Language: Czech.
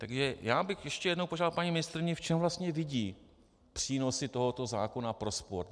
Takž já bych ještě jednou požádal paní ministryni, v čem vlastně vidí přínosy tohoto zákona pro sport.